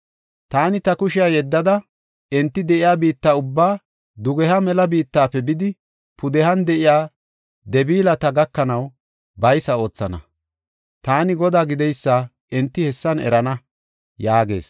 Taani ta kushiya yeddada, enti de7iya biitta ubbaa, dugeha mela biittafe bidi pudehan de7iya Deblaata gakanaw baysa oothana. Taani Godaa gideysa enti hessan erana” yaagees.